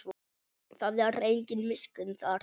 Það er engin miskunn þarna.